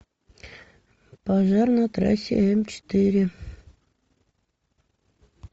пожар на трассе м четыре